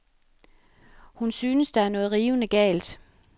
Hun synes, der er noget rivende galt.